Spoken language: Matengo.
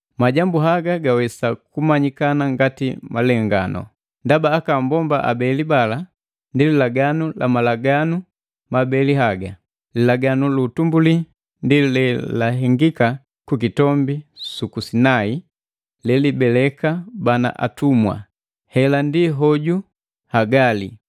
Majambu haga gawesa kumanyikana ngati malenganu. Ndaba aka mbomba abeli bala ndi lilenganu la malaganu mabeli haga. Lilaganu lu utumbuli, ndi lelahengika ku kitombi suku Sinai, lelibeleka bana atumwa. Heli ndi hoju Hagali.